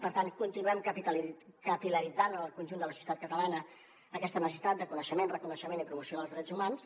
per tant continuem capil·laritzant en el conjunt de la societat catalana aquesta necessitat de coneixement reconeixement i promoció dels drets humans